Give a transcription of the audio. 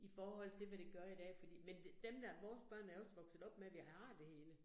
I forhold til, hvad det gør i dag fordi, men dem, der vores børn er også vokset op med, vi har det hele